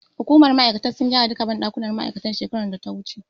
Hukumar ma'aikatar sun gyara duka banɗakunan ma'aikatar shekarar data wuce